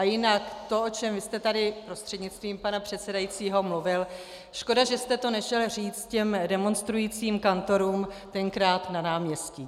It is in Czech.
A jinak to, o čem vy jste tady, prostřednictvím pana předsedajícího, mluvil - škoda, že jste to nešel říct těm demonstrujícím kantorům tenkrát na náměstí.